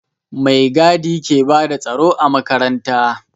Mai gadi ke bada tsaro a makaranta